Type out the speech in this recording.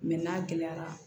n'a gɛlɛyara